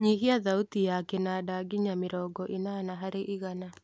nyihia thauti ya kĩnanda nginya mĩrongo ĩnana harĩ igana